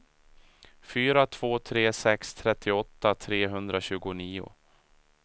fyra två tre sex trettioåtta trehundratjugonio